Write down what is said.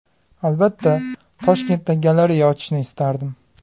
Albatta, Toshkentda galereya ochishni istardim.